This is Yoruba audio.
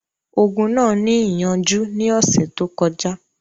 Ogun náà ní ìyànjú ní ọ̀sẹ̀ tó kọjá.